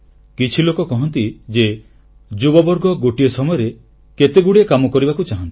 କିଛି ଲୋକ କହନ୍ତି ଯେ ଯୁବବର୍ଗ ଗୋଟିଏ ସମୟରେ କେତେଗୁଡ଼ିଏ କାମ କରିବାକୁ ଚାହାଁନ୍ତି